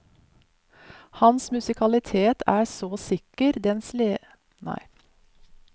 Hans musikalitet er så sikker, den ledes både av det musikalske instinktet og en bevisst forståelse av stoffet.